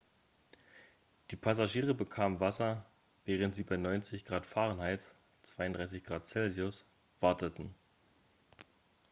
die passagiere bekamen wasser während sie bei 90 °f 32 °c warteten.x